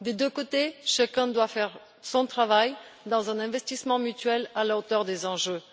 Des deux côtés, chacun doit faire son travail dans un investissement mutuel à la hauteur des enjeux.